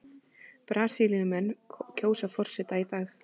Brasilíumenn kjósa forseta í dag